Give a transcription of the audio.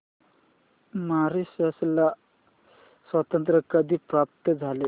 Mauritius ला स्वातंत्र्य कधी प्राप्त झाले